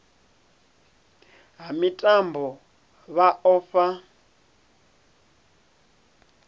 ha mitambo vha o vha